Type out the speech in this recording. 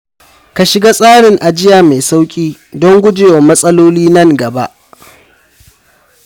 Ka shiga tsarin ajiya mai sauƙi don gujewa matsaloli nan gaba.